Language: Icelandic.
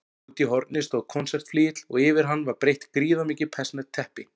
Úti í horni stóð konsertflygill og yfir hann var breitt gríðarmikið persneskt teppi.